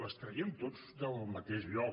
les traiem tots del mateix lloc